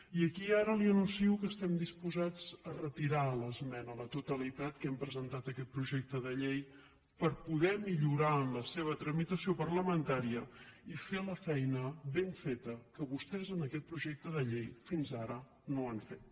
i aquí ara li anuncio que estem disposats a retirar l’esmena a la totalitat que hem presentat a aquest projecte de llei per poder lo millorar en la seva tramitació parlamentària i fer la feina ben feta que vostès en aquest projecte de llei fins ara no han fet